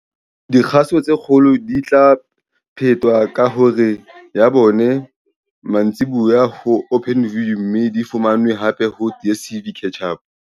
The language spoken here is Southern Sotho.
Dikgaso tse kgolo di tla phetwa ka hora ya bone mantsibuya ho Openview mme di fumanwe hape ho DSTV Catch-Up.